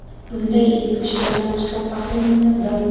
Bunday ezgu ishlardan qishloq ahli minnatdor.